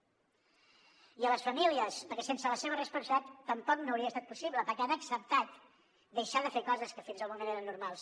i a les famílies perquè sense la seva responsabilitat tampoc no hauria estat possible perquè han acceptat deixar de fer coses que fins al moment eren normals